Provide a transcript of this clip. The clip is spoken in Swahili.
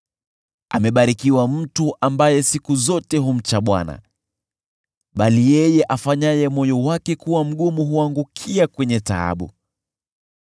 Amebarikiwa mtu ambaye siku zote humcha Bwana , bali yeye afanyaye moyo wake kuwa mgumu huangukia kwenye taabu.